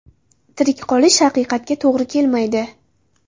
Tirik qolish haqiqatga to‘g‘ri kelmaydi”.